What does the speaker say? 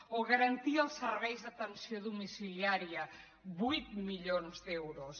o garantir els serveis d’atenció domiciliària vuit milions d’euros